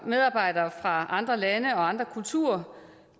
medarbejdere fra andre lande og andre kulturer